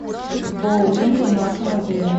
боулинг в нашем отеле